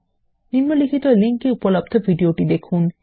নিম্নলিখিত লিঙ্ক এ উপলব্ধ ভিডিওটি দেখুন